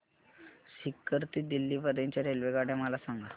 सीकर ते दिल्ली पर्यंत च्या रेल्वेगाड्या मला सांगा